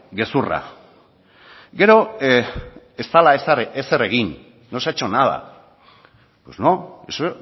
gezurra gero ez dela ezer egin no se ha hecho nada pues no eso